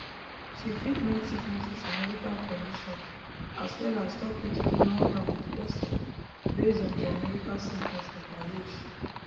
she fit name sicknesses and medical conditions as well as tok wetin dey wrong am with pesin based on dia medical symptoms at her age